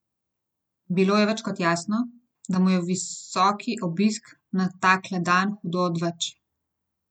Bilo je več kot jasno, da mu je visoki obisk na takle dan hudo odveč.